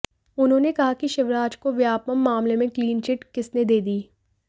उन्होंने कहा कि शिवराज को व्यापम मामले में क्लीन चिट किसने दे दी